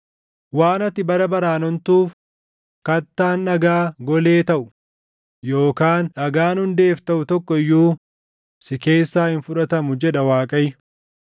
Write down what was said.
“Waan ati bara baraan ontuuf, kattaan dhagaa golee taʼu, yookaan dhagaan hundeef taʼu tokko iyyuu si keessaa hin fudhatamu” jedha Waaqayyo.